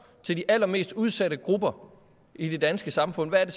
til de allermest udsatte grupper i det danske samfund hvad